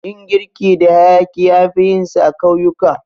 Yin girki da hayaƙi anfi yinsa a ƙauyuka.